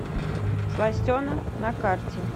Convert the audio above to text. сластена на карте